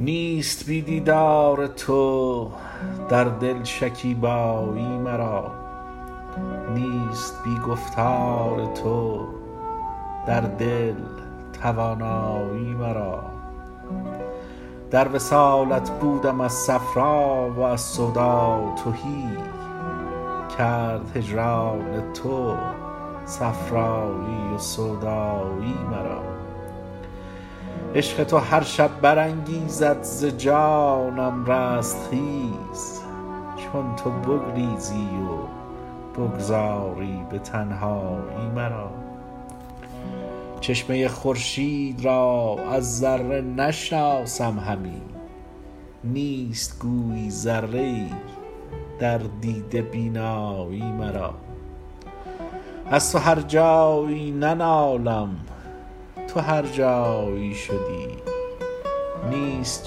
نیست بی دیدار تو در دل شکیبایی مرا نیست بی گفتار تو در دل توانایی مرا در وصالت بودم از صفرا و از سودا تهی کرد هجران تو صفرایی و سودایی مرا عشق تو هر شب برانگیزد ز جانم رستخیز چون تو بگریزی و بگذاری به تنهایی مرا چشمه خورشید را از ذره نشناسم همی نیست گویی ذره ای در دیده بینایی مرا از تو هر جایی ننالم تا تو هر جایی شدی نیست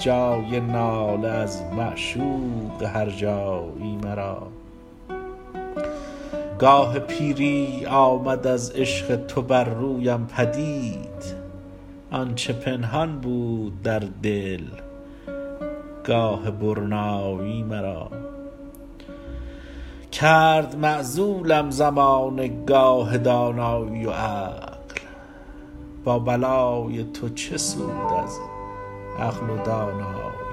جای ناله از معشوق هر جایی مرا گاه پیری آمد از عشق تو بر رویم پدید آن چه پنهان بود در دل گاه برنایی مرا کرد معزولم زمانه گاه دانایی و عقل با بلای تو چه سود از عقل و دانایی مرا